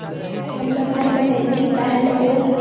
सरदार वल्लभ भाई पटेल की पहल और